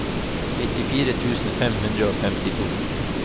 nittifire tusen fem hundre og femtito